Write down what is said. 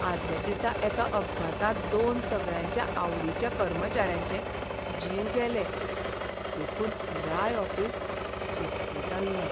आदल्या दिसा एका अपघातांत दोन सगळ्यांच्या आवडिच्या कर्मचाऱ्यांचे जीव गेले, देखून पुराय ऑफिस सुतकी जाल्लें.